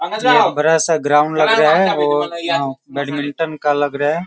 ये एक बड़ा सा ग्राउंड लग रहा है वो बैडमिंटन का लग रहा है।